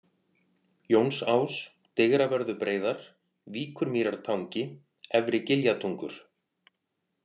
Jónsás, Digravörðubreiðar, Víkurmýrartangi, Efri-Giljatungur